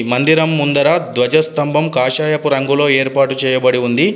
మందిరం ముందర ధ్వజస్తంభం కాషాయపు రంగులో ఏర్పాటు చేయబడి ఉంది.